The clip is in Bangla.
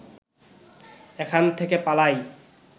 এখান থেকে পালাই